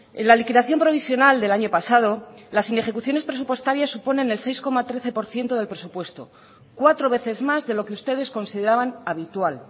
en la liquidación provisional del año pasado las inejecuciones presupuestarias suponen el seis coma trece por ciento del presupuesto cuatro veces más de lo que ustedes consideraban habitual